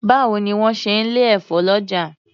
Báwo ni wọ́n ń ṣe lè efo lọ́jà.